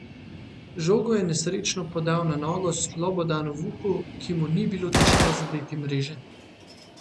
Žogo je nesrečno podal na nogo Slobodanu Vuku, ki mu ni bilo težko zadeti mreže.